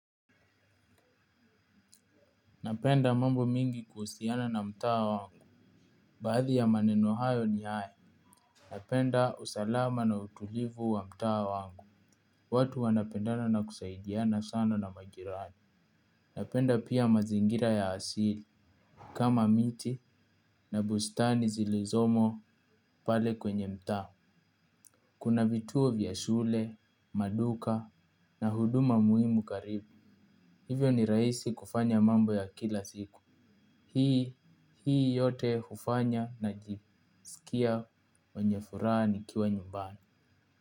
Napenda mambo mingi kuhusiana na mtaa wangu. Baadhi ya maneno hayo ni haya. Napenda usalama na utulivu wa mtaa wangu. Watu wanapendana na kusaidiana sana na majirani. Napenda pia mazingira ya asili kama miti na bustani zilizomo pale kwenye mtaa. Kuna bituo vyashule maduka na huduma muhimu karibu. Hivyo ni raisi kufanya mambo ya kila siku. Hii yote hufanya na jiskia wenye furahani kiwa nyumbani.